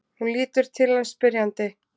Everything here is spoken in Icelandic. Hún lítur til hans spyrjandi.